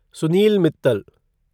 Sunil Mittal